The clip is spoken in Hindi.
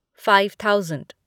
five thousand